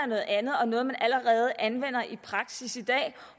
noget andet og noget man allerede anvender i praksis i dag